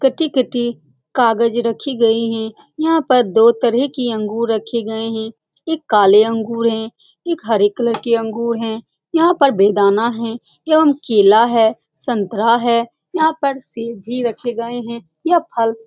कट्टी-कट्टी कागज रखी हुई है यहाँ पर दो तरह के अंगूर रखे गए हैं एक काले अंगूर है एक हरे कलर के अंगूर है यहाँ पर एवं केला है संतरा है यहाँ पर सेब भी रखे गए हैं यह फल --